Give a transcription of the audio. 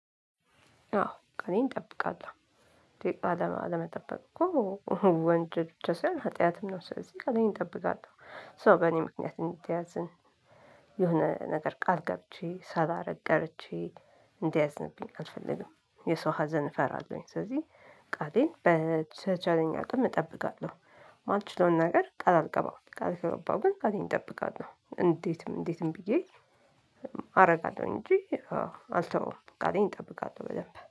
አዎ ቃሌን እጠብቃለው ቃል አለመጠበቅ እኮ ወንጀል ብቻ ይሆን ሀጢያትም ነው። ስለዚህ ቃሌን እጠብቃለሁ ሰው በእኔ ምክንያት እንዲያዝን የሆነ ነገር ቃል ገብቼ ሳላረግ ቀርቼ እንዲያዝንብኝ አልፈልግም። የሰው ሀዘን እፈራለሁኝ ስለዚህ ቃሌን በተቻለኝ አቅም እጠብቃለሁ። የማልችለውን ነገር ቃል አልገባም። ቃል ከገባው ግን ቃሌን እጠብቃለሁ እንዴትም እንዴትም ብዬ አደርጋለሁ እንጂ። አልተወውም ቃሌን እጠብቃለሁ በደንብ